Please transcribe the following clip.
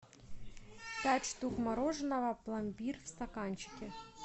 пять штук мороженого пломбир в стаканчике